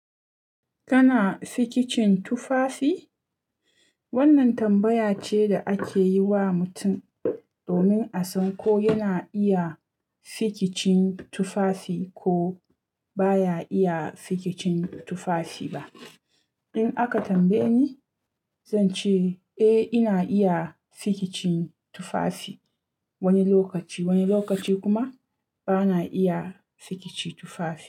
Kana sikicin tufafi? Wannan tambaya ce da ake yi wa mutum domin a san ko yana iya sikicin tufafi ko baya iya sikicin tufafi ba. In aka tambaye ni, zan ce eh ina iya fikicin tufafi wani lokaci, wani lokaci kuma bana iya fikici tufafi.